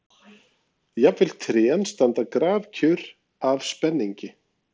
Jafnvel trén standa grafkyrr af spenningi.